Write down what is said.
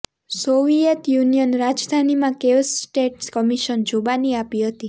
Soviet Union રાજધાનીમાં કેવ્સ state commission જુબાની આપી હતી